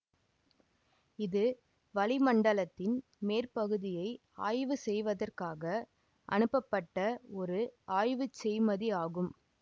இது வளிமண்டலத்தின் மேற்பகுதியை ஆய்வு செய்வதற்காக அனுப்பப்பட்ட ஒரு ஆய்வுச் செய்மதி ஆகும்